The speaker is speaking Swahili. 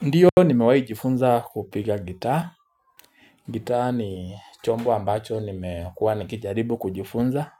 Ndiyo nimewai jifunza kupiga gita. Gitaa ni chombo ambacho nimekuwa nikijaribu kujifunza.